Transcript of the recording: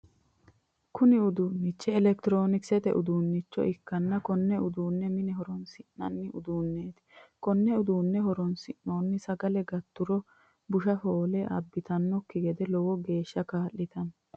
Kunni uduunchi elekitiroonikisete uduunnicho ikanna konne uduune mine horoonsi'nanni uduuneeti konni uduunni horosino sagale galturo busha foole abitanoki gede lowo geesha kaa'litanno.